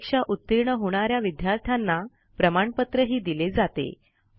परीक्षा उतीर्ण होणा या विद्यार्थ्यांना प्रमाणपत्रही दिले जाते